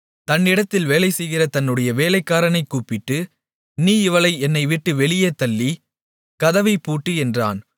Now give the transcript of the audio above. தன்னிடத்தில் வேலைசெய்கிற தன்னுடைய வேலைக்காரனைக் கூப்பிட்டு நீ இவளை என்னைவிட்டு வெளியேத் தள்ளி கதவைப் பூட்டு என்றான்